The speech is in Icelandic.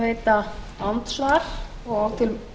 frú forseti mér vefst nú